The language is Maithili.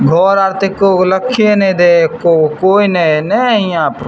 घर आर ते एको गो लाखे ने देय हेय एको गो ने हेय कोय ने हेय।